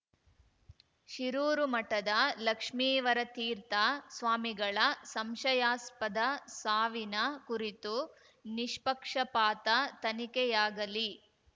ಶಿರೂರು ಮಠದ ಲಕ್ಷ್ಮೀವರತೀರ್ಥ ಸ್ವಾಮಿಗಳ ಸಂಶಯಾಸ್ಪದ ಸಾವಿನ ಕುರಿತು ನಿಷ್ಪಕ್ಷಪಾತ ತನಿಖೆಯಾಗಲಿ